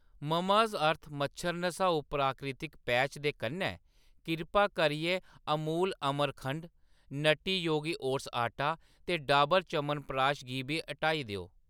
Mamaearth मच्छर नसाऊ प्राकृतिक पैच दे कन्नै, किरपा करियै अमूल अमरखंड, नट्टी योगी ओट्स आटा ते डॉबर च्यवनप्रकाश गी बी हटाई देओ।